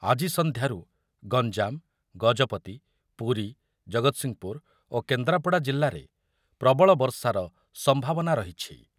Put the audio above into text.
ଆଜି ସଂଧ୍ୟାରୁ ଗଞ୍ଜାମ, ଗଜପତି, ପୁରୀ, ଜଗତସିଂହପୁର ଓ କେନ୍ଦ୍ରାପଡା ଜିଲ୍ଲାରେ ପ୍ରବଳ ବର୍ଷାର ସମ୍ଭାବନା ରହିଛି ।